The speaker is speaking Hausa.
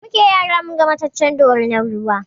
Da muke yara munga mataccen dorinar ruwa